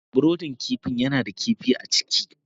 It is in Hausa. brudin kifi yana da kifi a ciki.